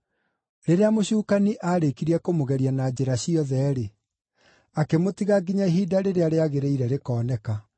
Rĩrĩa mũcukani aarĩkirie kũmũgeria na njĩra ciothe-rĩ, akĩmũtiga nginya ihinda rĩrĩa rĩagĩrĩire rĩkoneka.